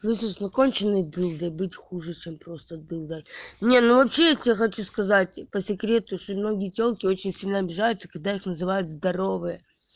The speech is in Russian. слышишь но конченной дылдой быть хуже чем просто дылдой ну ну вообще я тебе хочу сказать по секрету что многие тёлки очень сильно обижаются когда их называют здоровые